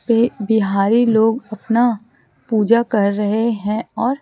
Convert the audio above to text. से बिहारी लोग अपना पूजा कर रहे हैं और--